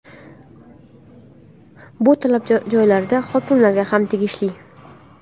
Bu talab joylarda hokimlarga ham tegishli.